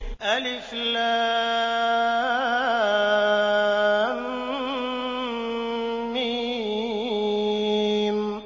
الم